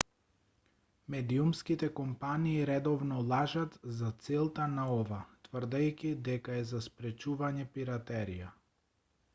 медиумските компании редовно лажат за целта на ова тврдејќи дека е за спречување пиратерија